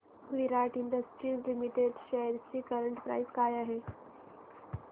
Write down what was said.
विराट industries limited shares ची current price काय आहे